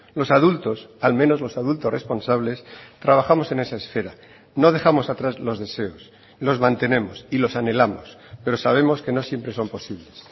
los adultos al menos los adultos responsables trabajamos en esa esfera no dejamos atrás los deseos los mantenemos y los anhelamos pero sabemos que no siempre son posibles